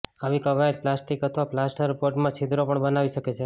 આવી કવાયત પ્લાસ્ટિક અથવા પ્લાસ્ટરબોર્ડમાં છિદ્રો પણ બનાવી શકે છે